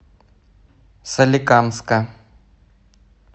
соликамска